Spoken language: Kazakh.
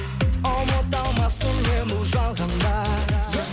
ұмыта алмаспын мен бұл жалғанда